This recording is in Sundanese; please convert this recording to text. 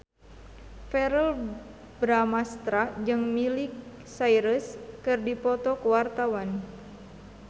Verrell Bramastra jeung Miley Cyrus keur dipoto ku wartawan